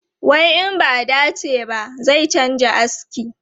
Wai in ba a dace ba, zai canza aski.